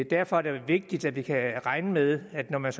derfor er det vigtigt at vi kan regne med at man